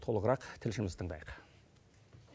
толығырақ тілшімізді тыңдайық